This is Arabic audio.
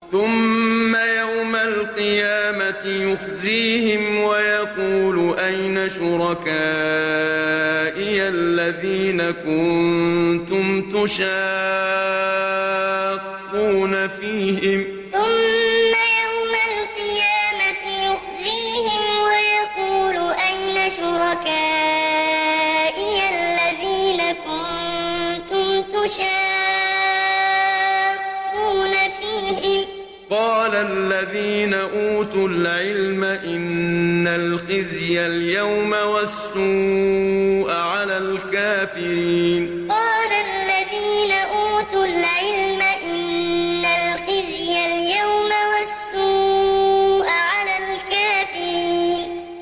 ثُمَّ يَوْمَ الْقِيَامَةِ يُخْزِيهِمْ وَيَقُولُ أَيْنَ شُرَكَائِيَ الَّذِينَ كُنتُمْ تُشَاقُّونَ فِيهِمْ ۚ قَالَ الَّذِينَ أُوتُوا الْعِلْمَ إِنَّ الْخِزْيَ الْيَوْمَ وَالسُّوءَ عَلَى الْكَافِرِينَ ثُمَّ يَوْمَ الْقِيَامَةِ يُخْزِيهِمْ وَيَقُولُ أَيْنَ شُرَكَائِيَ الَّذِينَ كُنتُمْ تُشَاقُّونَ فِيهِمْ ۚ قَالَ الَّذِينَ أُوتُوا الْعِلْمَ إِنَّ الْخِزْيَ الْيَوْمَ وَالسُّوءَ عَلَى الْكَافِرِينَ